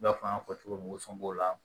I n'a fɔ an y'a fɔ cogo min o sɔngɔn la